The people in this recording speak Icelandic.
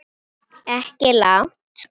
Stjáni kinkaði kolli.